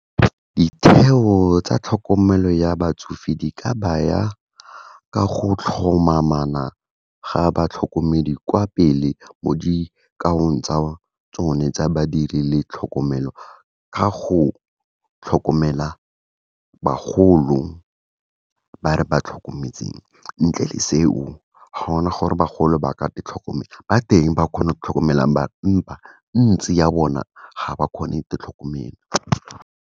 Ditheo tsa tlhokomelo ya batsofe, di ka baya ka go tlhomamana ga batlhokomedi kwa pele, mo dikaong tsa tsone tsa badiri le tlhokomelo, ka go tlhokomela bagolo ba re ba tlhokometseng. Ntle le seo, ga ona gore bagolo ba ka ditlhokomela, ba teng ba kgonang go ditlhokomelang, empa ntsi ya bona ga ba kgone tlhokomela.